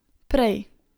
Prej.